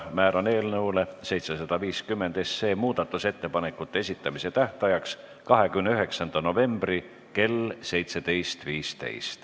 Määran eelnõu 750 muudatusettepanekute esitamise tähtajaks 29. novembri kell 17.15.